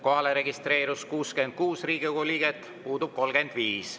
Kohalolijaks registreeris end 66 Riigikogu liiget, puudub 35.